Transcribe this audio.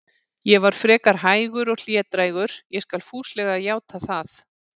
Ég var frekar hægur og hlédrægur, ég skal fúslega játa það.